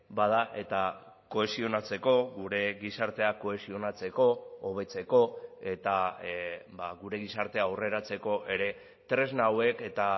bada eta kohesionatzeko gure gizartea kohesionatzeko hobetzeko eta gure gizartea aurreratzeko ere tresna hauek eta